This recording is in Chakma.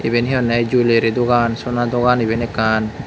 iben hee honney jewellery dogan sona dogan iben ekkan.